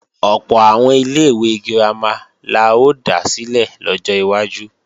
Ọ̀pọ̀ àwọn ilé-ìwé girama la ó dá sílẹ̀ lọ́jọ́ iwájú